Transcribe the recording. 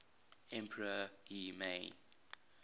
emperor y mei